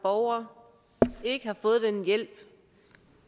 borger ikke har fået den hjælp